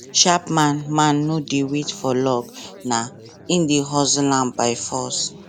sharp man man no dey wait for luck na im dey hustle am by force